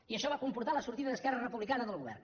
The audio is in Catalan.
i això va comportar la sortida d’esquerra republicana del govern